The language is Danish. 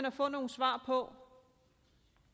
at få nogle svar på